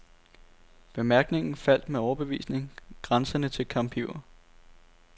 Bemærkningen faldt med overbevisning, grænsende til kampiver.